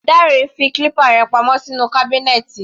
Dare fi clipper rẹ̀ pa mọ́ sínú kábínẹ́tì.